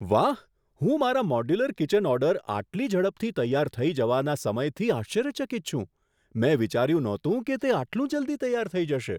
વાહ! હું મારા મોડ્યુલર કિચન ઓર્ડર આટલી ઝડપથી તૈયાર થઈ જવાના સમયથી આશ્ચર્યચકિત છું. મેં વિચાર્યું નહોતું કે તે આટલું જલ્દી તૈયાર થઈ જશે!